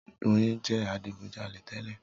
Doyin jẹ adigujalè tẹ́lẹ̀.